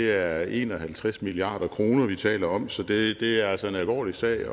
er en og halvtreds milliard kr vi taler om så det er altså en alvorlig sag